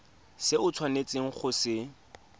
se o tshwanetseng go se